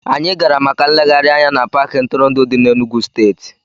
Anyị gara maka nlegharị anya n'Paakị ntụrụndụ dị n'Enugwu steeti